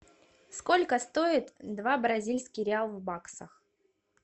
сколько стоит два бразильских реал в баксах